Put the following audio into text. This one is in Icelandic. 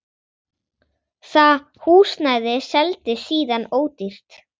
Það húsnæði seldist síðan ódýrt.